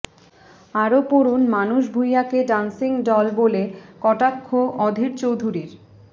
আরও পড়ুন মানস ভুঁইঞাকে ড্যান্সিং ডল বলে কটাক্ষ অধীর চৌধুরীর